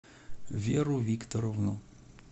веру викторовну